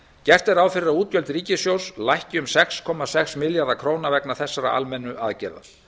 gert er ráð fyrir að útgjöld ríkissjóðs lækki um sex komma sex milljarða króna vegna þessara almennu aðgerða